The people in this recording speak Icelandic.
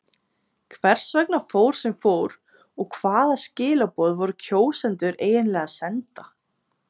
Hvers vegna fór sem fór og hvaða skilaboð voru kjósendur eiginlega að senda?